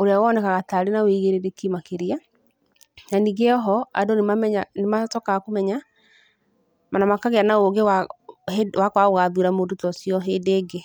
ũrĩa wonekaga ta arĩ na wĩigĩrĩrĩki makĩria na ningĩ o ho andũ nĩmacokaga kũmenya o na makagĩa na ũgĩ wa kwaga gũgathura mũndũ ta ũcio hĩndĩ ĩngĩ.